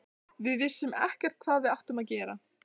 Við vissum ekkert hvað við áttum að gera.